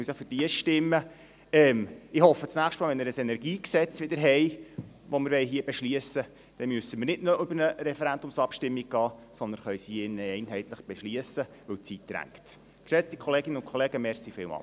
Ich hoffe, dass wir beim nächsten Mal, wo wir ein Energiegesetz beschliessen wollen, nicht noch eine Referendumsabstimmung brauchen, sondern es hier drin einheitlich beschliessen können, denn die Zeit drängt.